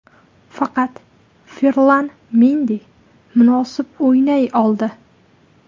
Faqat Ferlan Mendi munosib o‘ynay oldi.